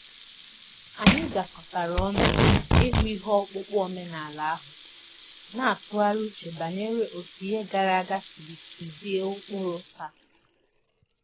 Anyị gakọtara ọnụ ịhụ ihe ọkpụkpụ omenala ahụ, na-atụgharị uche banyere otu ihe gara aga siri tuzie ụkpụrụ taa.